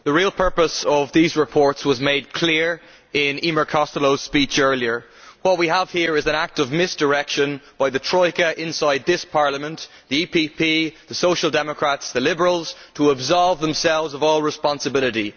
Madam President, the real purpose of these reports was made clear in Emer Costello's speech earlier. What we have here is an act of misdirection by the Troika inside this Parliament the EPP, the Social Democrats and the Liberals to absolve themselves of all responsibility.